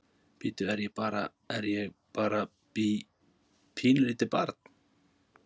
Bíddu, er ég bara, er ég bara bí, pínulítið barn?